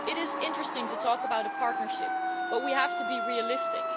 It is interesting to talk about a partnership, but we have to be realistic.